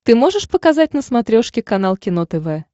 ты можешь показать на смотрешке канал кино тв